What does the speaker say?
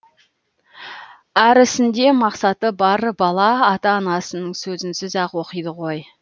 әрісінде мақсаты бар бала ата анасының сөзінсіз ақ оқиды ғой